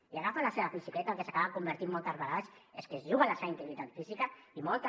i agafar la seva bicicleta en el que s’acaba convertint moltes vegades és que es juguen la seva integritat física i moltes